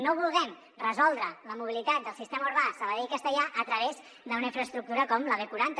no vulguem resoldre la mobilitat del sistema urbà de sabadell castellar a través d’una infraestructura com la b quaranta